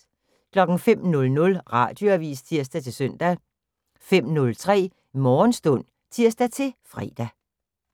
05:00: Radioavis (tir-søn) 05:03: Morgenstund (tir-fre)